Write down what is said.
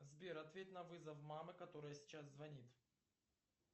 сбер ответь на вызов мамы которая сейчас звонит